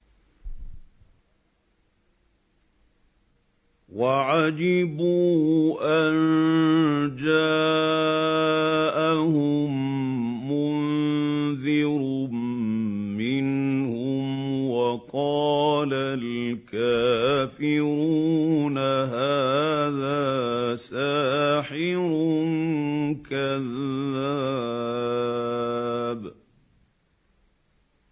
وَعَجِبُوا أَن جَاءَهُم مُّنذِرٌ مِّنْهُمْ ۖ وَقَالَ الْكَافِرُونَ هَٰذَا سَاحِرٌ كَذَّابٌ